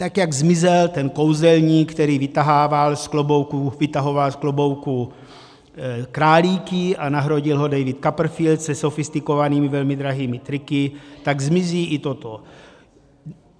Tak jak zmizel ten kouzelník, který vytahoval z klobouku králíky, a nahradil ho David Copperfield se sofistikovanými velmi drahými triky, tak zmizí i toto.